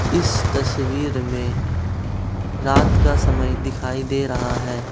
इस तस्वीर मे रात का समय दिखाई दे रहा है।